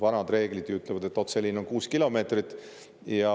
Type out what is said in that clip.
Vanad reeglid ütlevad, et otseliin on 6 kilomeetrit.